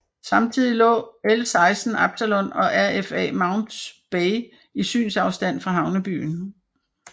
Samtidig lå L16 Absalon og RFA Mounts Bay i synsafstand fra havnebyen